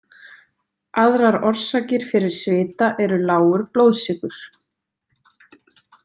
Aðrar orsakir fyrir svita eru lágur blóðsykur.